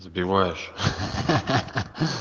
сбиваешь хи-хи